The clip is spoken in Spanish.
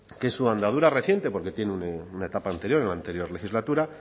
que su andadura reciente porque tiene una etapa anterior en la anterior legislatura